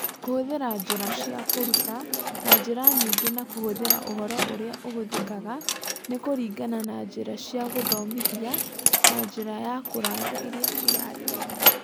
Kũhũthĩra njĩra cia kũruta na njĩra nyingĩ na kũhũthĩra ũhoro ũrĩa ũhũthĩkaga nĩ kũringana na njĩra cia gũthomithia na njĩra ya kũraya iria irarĩrĩrio.